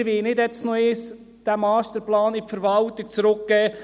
Wir wollen diesen Masterplan nicht jetzt noch einmal in die Verwaltung zurückgeben.